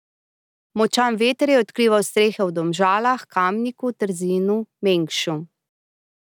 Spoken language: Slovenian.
Močan veter je odkrival strehe v Domžalah, Kamniku, Trzinu, Mengšu.